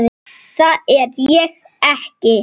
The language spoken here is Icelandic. Það er ég ekki.